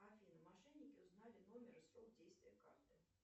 афина мошенники узнали номер и срок действия карты